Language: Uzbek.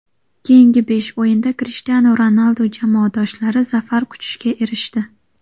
Keyingi besh o‘yinda Krishtianu Ronaldu jamoadoshlari zafar quchishga erishdi.